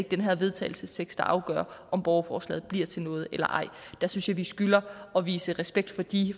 den her vedtagelsestekst der afgør om borgerforslaget bliver til noget eller ej der synes jeg vi skylder at vise respekt for de